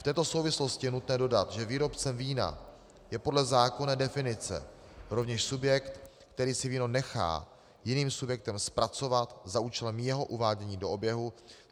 V této souvislosti je nutné dodat, že výrobcem vína je podle zákonné definice rovněž subjekt, který si víno nechá jiným subjektem zpracovat za účelem jeho uvádění do oběhu.